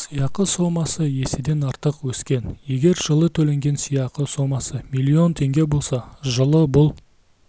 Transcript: сыйақы сомасы еседен артық өскен егер жылы төленген сыйақы сомасы млн теңге болса жылы бұл